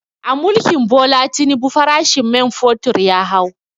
A mulkin Bola Tinubu farashin men fetur ya hau